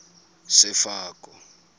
sefako